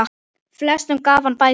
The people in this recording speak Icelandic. Flestum gaf hann bækur.